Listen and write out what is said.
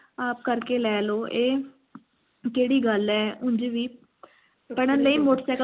ਆਪ ਕਰਕੇ ਲੈ ਲਓ ਇਹ ਕਿਹੜੀ ਗੱਲ ਹੈ ਉਂਝ ਵੀ